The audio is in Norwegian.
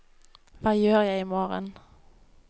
hva gjør jeg imorgen